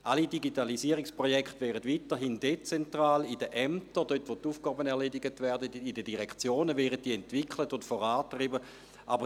Alle Digitalisierungsprojekte werden weiterhin dezentral in den Ämtern, dort, wo in den Direktionen die Aufgaben erledigt werden, entwickelt und vorangetrieben.